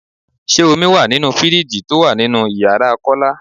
Ṣé omi wá nínú fíríìjiì tó wà nínú ìyára Kọ́lá?